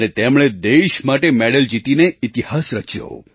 અને તેમણે દેશ માટે મેડલ જીતીને ઇતિહાસ રચ્યો